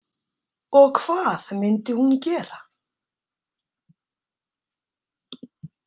Og hvað myndi hún gera?